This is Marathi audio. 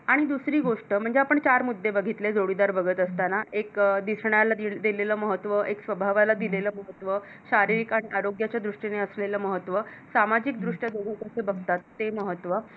आणि दुसरी गोष्ट म्हणजे आपण चार मुद्दे बघितले जोडीदार बघत असतांना एक दिसण्याला दिलेल महत्त्व एक स्वभावाला दिलेल महत्त्व शारीरिक आणि आरोग्याच्या दृष्टीने असलेल महत्त्व सामाजिक दृष्ट्या दोघ कसे बघतात ते महत्व